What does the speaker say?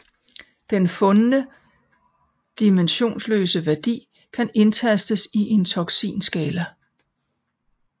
Den fundne dimensionsløse værdi kan indtastes i en toksineskala